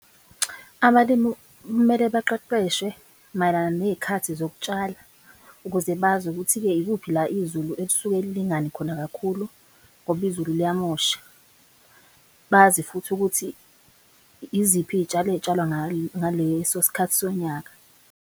Abalimu kumele baqeqeshwe mayelana ney'khathi zokutshala ukuze bazi ukuthi-ke ikuphi la izulu elisuke lingani khona kakhulu ngoba izulu liyamosha. Bazi futhi ukuthi iziphi iy'tshalo ey'tshalwa ngaleso skhathi sonyaka.